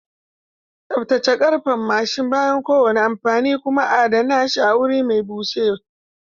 Tsaftace karfen mashin bayan kowane amfani kuma adana shi a wuri mai bushe.